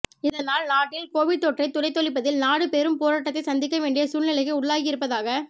இதனால் நாட்டில் கோவிட் தொற்றை துடைத்தொழிப்பதில் நாடு பெரும் போராட்டத்தை சந்திக்க வேண்டிய சூழ்நிலைக்கு உள்ளாகியிருப்பதாக